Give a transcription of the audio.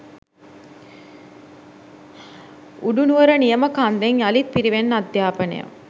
උඩුනුවර නියම කන්දෙන් යළිත් පිරිවෙන් අධ්‍යාපනය